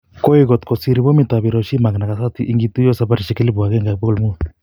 Koi kot kosir Pomit ap Horoshima ag Nagasaki ingituyo saparishek 1500